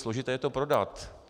Složité je to prodat.